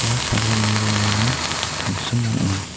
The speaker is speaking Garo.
ua sagalni rongara tangsim ong·a.